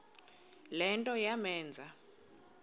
le nto yamenza